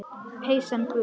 Peysan gul.